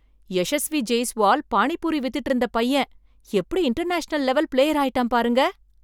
யஷஸ்வி ஜெய்ஸ்வால் பானிபூரி வித்திட்டு இருந்த பையன் எப்படி இன்டர்நேஷனல் லெவல் பிளேயர் ஆயிட்டான் பாருங்க!